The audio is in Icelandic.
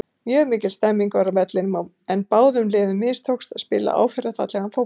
Mjög mikil stemning var á vellinum en báðum liðum mistókst að spila áferðarfallegan fótbolta.